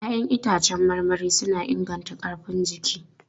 Ya'yan itãcen marmari suna inganta ƙarfin jiki.